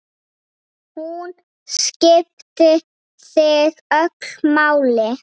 Hún skipti þig öllu máli.